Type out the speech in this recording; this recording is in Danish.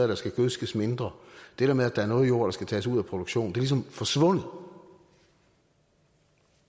der skal gødskes mindre det der med at der er noget jord der skal tages ud af produktion ligesom er forsvundet